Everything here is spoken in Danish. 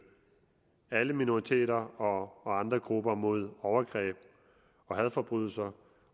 alle minoriteter og andre grupper mod overgreb og hadforbrydelser